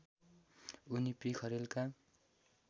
उनी पि खरेलका